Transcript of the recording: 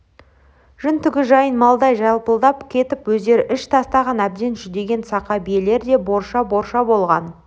жүні-түгі жайын малдай жалпылдап кетіп өздері іш тастаған әбден жүдеген сақа биелер де борша-борша болған